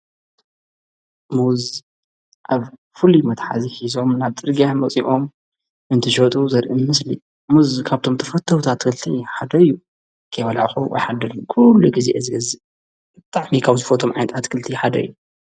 ሙዝ ኣብ ፍል መታሓዚ ኂዞም ናብ ጥድግያሕ መጺኦም እንቲ ሸጡ ዘርኢምምስሊ ሙዝ ካብቶም ተፈተውታ ትኽልቲ ሓደዩ ከበላእኹ ኣይሓደልን ኲሉ ጊዜ እዝገዝቕቕ እታሕሚካው ዝፈቶም ዓይንጥ ኣትክልቲ ሓደ እዩ።